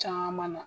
Caman na